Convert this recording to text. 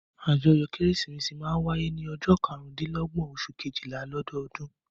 Àjọyọ̀ Kérésìmesì máa ń wáyé ní ọjọ́ karùndínlọ́gbọ́n oṣù kejìlá ní ọdọọdún.